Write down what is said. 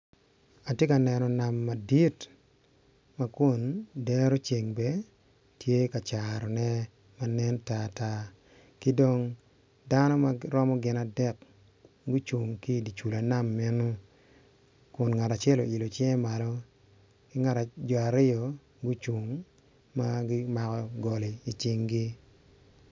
Atye ka neno nam madit ma kun dero ceng bene tye ka carone ma nen tartar ki dong dano ma girom o gin adek gucung ki dye cula nam meno kun ngat acel oilo cinge malo jo aryo gucung ma gimako goli i cingi.